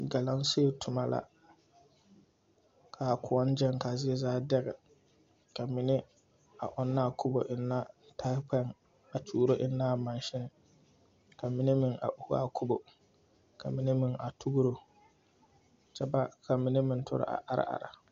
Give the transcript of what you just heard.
Galamsey toma la ka kõɔ gyɛŋ ka a zie zaa dɛgɛ ka mine ɔnna a kubo enna tahikpɛŋ a tuuro enna a maasin ka mine ohu a kubo ka mine meŋ tugiro kyɛ ba mine meŋ are are.